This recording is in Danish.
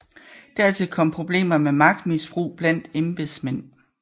Dertil kom problemer med magtmisbrug blandt embedsmænd